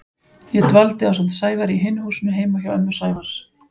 Ég dvaldi ásamt Sævari í hinu húsinu heima hjá ömmu Sævars.